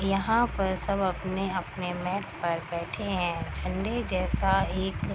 यहाँ पर सब अपने-अपने मेट बैठे हैं झंडे जैसा एक --